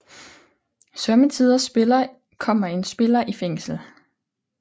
Sommetider kommer en spiller i fængsel